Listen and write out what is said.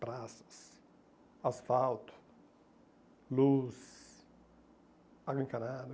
Praças, asfalto, luz, água encanada.